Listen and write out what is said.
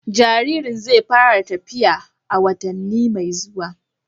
Jaririn zai fara tafiya a wata mai zuwa.